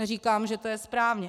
Neříkám, že to je správně.